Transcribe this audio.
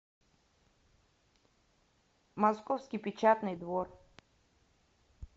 московский печатный двор